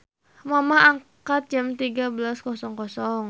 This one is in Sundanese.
Mamah angkat jam 13.00